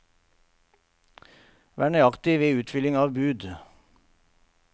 Vær nøyaktig ved utfylling av bud.